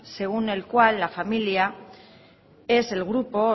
según el cual la familia es el grupo o